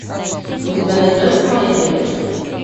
у тебя найдется моя девочка